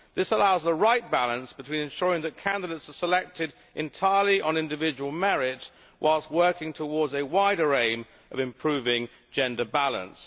This allows the right balance between ensuring that candidates are selected entirely on individual merit, whilst working towards a wider aim of improving gender balance.